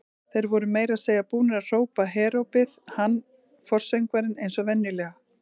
Þeir voru meira að segja búnir að hrópa herópið, hann forsöngvarinn eins og venjulega.